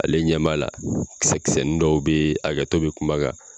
Ale ɲɛ b'a la kisɛ kisɛnin dɔw bɛ hakɛto bɛ kuma na.